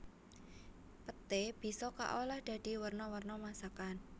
Peté bisa kaolah dadi werna werna masakan